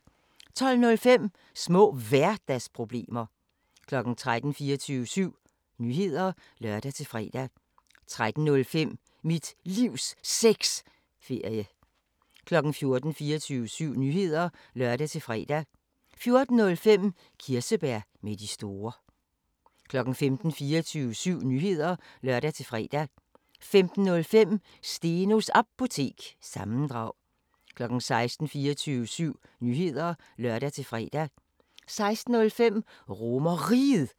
20:00: 24syv Nyheder (lør-fre) 20:05: AK 24syv – altid kultur 21:00: 24syv Nyheder (lør-fre) 21:05: Mikrofonholder (G) 22:00: 24syv Nyheder (lør-fre) 22:05: Pharaos Cigarer 23:00: 24syv Nyheder (lør-fre) 23:05: Pharaos Cigarer 00:05: Nattevagten (lør-fre) 01:00: 24syv Nyheder (lør-fre)